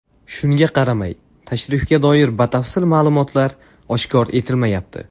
Shunga qaramay, tashrifga doir batafsil ma’lumotlar oshkor etilmayapti.